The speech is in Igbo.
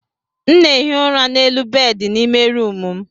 M na-ehi ụra n'elu bedị n'ime rumụ m.